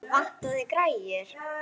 Vantaði græjur?